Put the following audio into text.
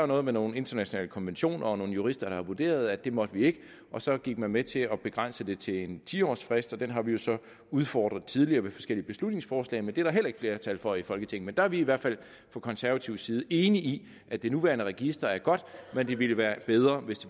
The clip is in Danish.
noget med nogle internationale konventioner og nogle jurister der har vurderet at det måtte vi ikke og så gik man med til at begrænse det til en ti årsfrist den har vi jo så udfordret tidligere ved forskellige beslutningsforslag men det er der heller ikke flertal for i folketinget men der er vi i hvert fald fra konservativ side enig i at det nuværende register er godt men det ville være bedre hvis